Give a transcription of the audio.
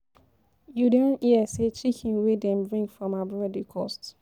You don hear sey chicken wey dem bring from abroad dey cost.